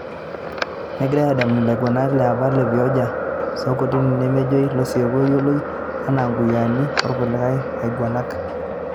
Negirai edamuni ilaigurana le apa le vioja aswaku o ntokitini nemejoi Losieku oyioloi anaa nkuyiaani okulikai aiguranak